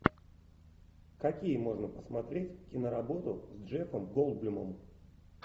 какие можно посмотреть киноработы с джеффом голдблюмом